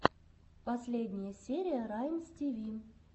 последняя серия раймстиви